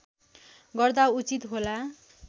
गर्दा उचित होला